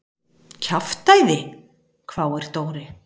Kjaftæði? hváir Dóri.